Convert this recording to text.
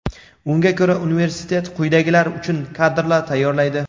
Unga ko‘ra universitet quyidagilar uchun kadrlar tayyorlaydi:.